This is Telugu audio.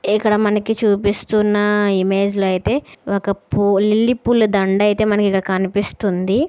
ఇక్కడ మనకు చూపిస్తున్న ఇమేజ్ అయితే ఒక లిల్లీ పూల దండ అయితే మనకి ఇక్కడ కనిపిస్తుంది.